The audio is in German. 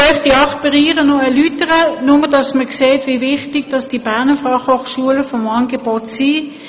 Ich nenne Ihnen die acht Bereiche, nur damit Sie sehen, wie wichtig die Berner Fachhochschule vom Angebot her ist.